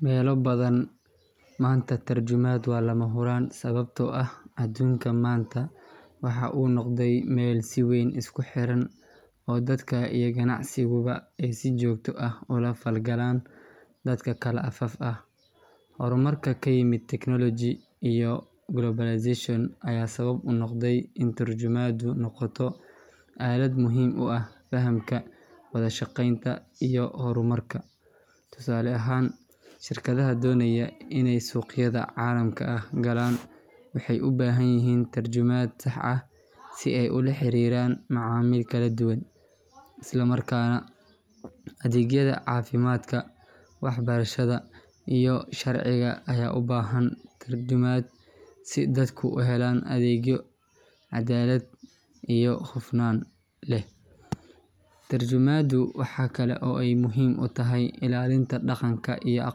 Meelo badan maanta tarjumad waa lamahuraan sababtoo ah adduunka maanta waxa uu noqday meel si weyn isku xiran oo dadka iyo ganacsiguba ay si joogto ah ula falgalaan dad kala afaf ah. Horumarka ku yimid technology iyo globalization ayaa sabab u noqday in turjumaaddu noqoto aalad muhiim u ah fahamka, wada shaqeynta iyo horumarka. Tusaale ahaan, shirkadaha doonaya inay suuqyada caalamka galaan waxay u baahan yihiin turjumaad sax ah si ay ula xiriiraan macaamiil kala duwan. Isla markaana, adeegyada caafimaadka, waxbarashada iyo sharciga ayaa u baahan turjumaad si dadku u helaan adeegyo cadaalad iyo hufnaan leh. Tarjumaddu waxa kale oo ay muhiim u tahay ilaalinta dhaqanka iyo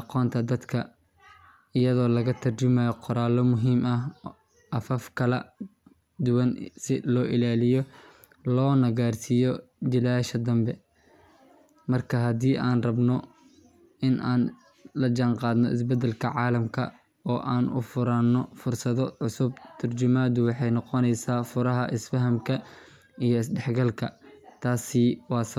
aqoonta iyadoo laga turjumayo qoraallo muhiim ah afaf kala duwan si loo ilaaliyo loona gaarsiiyo jiilasha dambe. Markaa haddii aan rabno in aan la jaanqaadno isbeddelka caalamka oo aan u furnaano fursado cusub, tarjumaddu waxay noqoneysaa furaha isfahamka iyo isdhexgalka. Taasi waa sababta.